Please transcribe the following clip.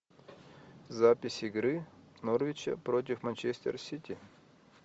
запись игры норвича против манчестер сити